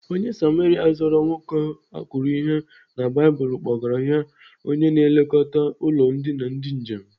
Onye Samaria zọrọ nwoke akụrụ ihe na Baịbụl kpọgara ya onye na-elekọta ụlọ ndina ndị njem.